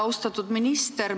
Austatud minister!